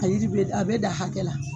A yiri be da a be dan hakɛ la